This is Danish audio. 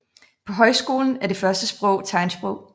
På højskolen er det første sprog tegnsprog